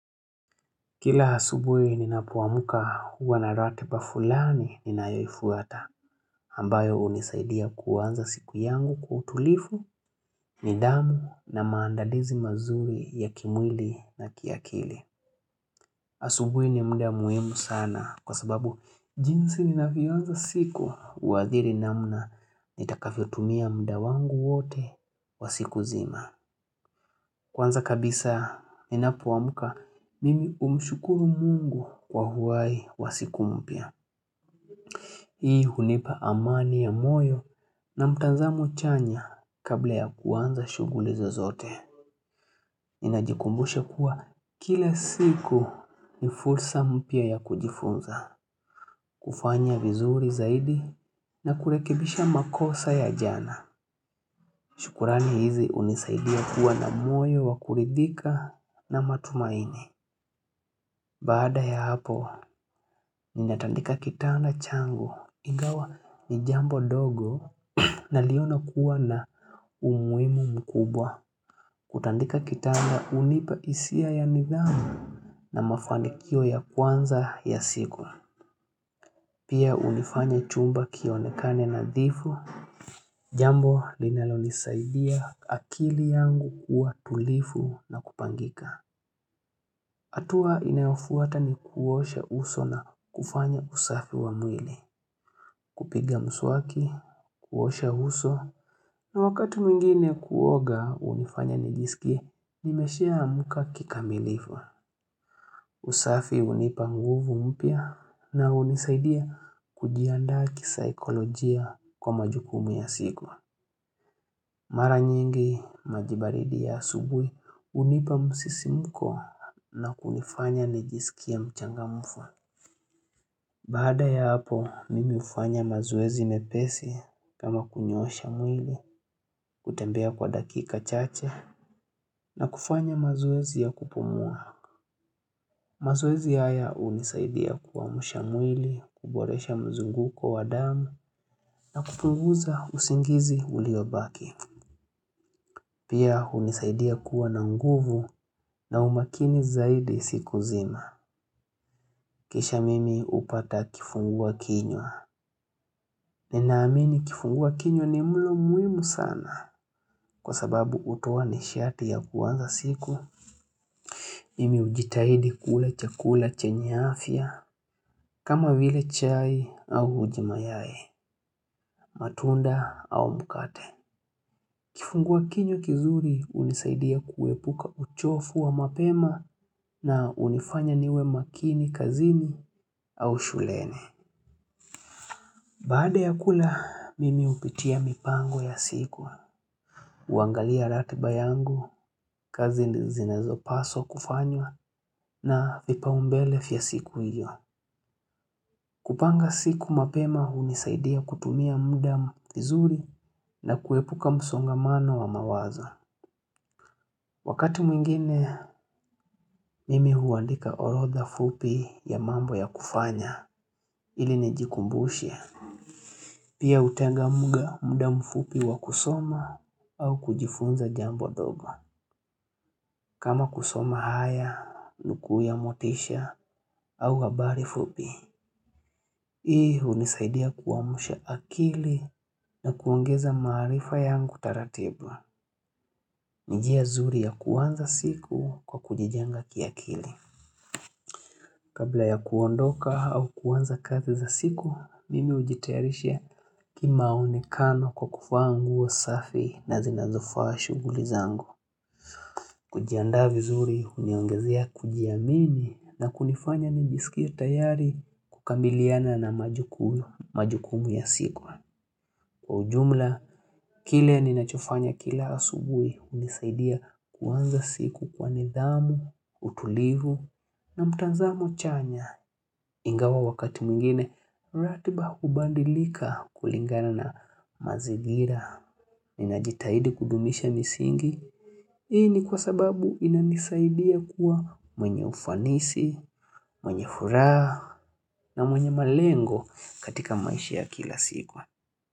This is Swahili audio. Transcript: Kila asubuhi ninapoamka huwa na ratiba fulani ninayoifuata ambayo unisaidia kuanza siku yangu kwa utulifu, nidhamu na maandadizi mazuri ya kimwili na kiakili asubuhi ninapoamka mimi umshukuru mungu kwa uwai wa siku mpya. Hii hunipa amani ya moyo na mtanzamo chanya kabla ya kuanza shuguli zozote. Ninajikumbusha kuwa kile siku ni fursa mpya ya kujifunza. Kufanya vizuri zaidi na kurekibisha makosa ya jana. Shukurani hizi unisaidia kuwa na moyo wa kuridhika na matumaini. Baada ya hapo ninatandika kitanda changu ingawa ni jambo dogo naliona kuwa na umuhimu mkubwa Kutandika kitanda hunipa hisia ya nidhamu na mafandikio ya kwanza ya siku Pia huliifanya chumba kionekane nadhifu jambo linalonisaidia akili yangu kuwa tulifu na kupangika hatua inayofuata ni kuosha uso na kufanya usafi wa mwili, kupiga mswaki, kuosha uso, na wakati mingine kuoga unifanya nijisikie, nimeshaamka kikamilivu usafi unipa nguvu mpya na unisaidia kujiandaa kisaikolojia kwa majukumu ya siku. Mara nyingi maji baridi ya asubuhi hunipa msisimko na kunifanya nijisikie mchangamvu Bada ya hapo, mimi hufanya mazoezi mepesi kama kunyosha mwili kutembea kwa dakika chache na kufanya mazoezi ya kupumua. Mazoezi haya hunisaidia kuamsha mwili, kuboresha mzunguko wa damu na kupunguza usingizi uliobaki. Pia unisaidia kuwa na nguvu na umakini zaidi siku zima. Kisha mimi upata kifungua kinyo. Ninaamini kifungua kinywa ni mlo muhimu sana kwa sababu hutoa nishati ya kuanza siku. Mimi ujitahidi kula chakula chenye afya kama vile chai au uji mayai matunda au mkate. Kifungua kinywa kizuri unisaidia kuepuka uchofu wa mapema na unifanya niwe makini kazini au shuleni. Baada ya kula, mimi upitia mipango ya siku. Kuangalia ratiba yangu, kazi zinazo paswa kufanywa na vipau mbele vya siku hiyo. Kupanga siku mapema hunisaidia kutumia muda vizuri na kuepuka msongamano wa mawazo. Wakati mwingine, mimi huandika orodha fupi ya mambo ya kufanya ili nijikumbushe. Pia utenga mga muda mfupi wa kusoma au kujifunza jambo dhoba. Kama kusoma haya, nukuu ya motisha au habari fupi. Hii hunisaidia kuamusha akili na kuongeza marifa yangu taratibu njia nzuri ya kuanza siku kwa kujijenga kiakili. Kabla ya kuondoka au kuanza kazi za siku, mimi ujitayarisha kimaonekano kwa kufaa nguo safi na zinazofaa shuguli zangu. Kujiandaa vizuri, huniongezea kujiamini na kunifanya nijisikie tayari kukabiliana na majukumu ya siku. Kwa ujumla, kile ninachofanya kila asubui, hunisaidia kuanza siku kwa nidhamu, utulivu na mtanzamo chanya. Ingawa wakati mwingine ratiba hubandilika kulingana na mazigira. Ninajitahidi kudumisha misingi hii ni kwa sababu inanisaidia kuwa mwenye ufanisi, mwenye furaha na mwenye malengo katika maishi ya kila siku.